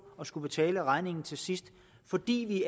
at skulle betale regningen til sidst fordi vi